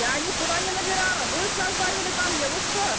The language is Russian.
я никуда не набирала вы что звонили ко мне вы что